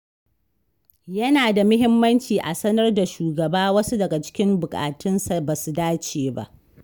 Yana da muhimmanci a sanar da shugaba wasu daga cikin buƙatunsa ba su dace ba.